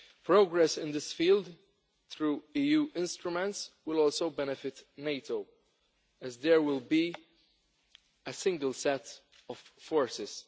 Progress in this field, through EU instruments, will also benefit NATO, as there will be a single set of forces.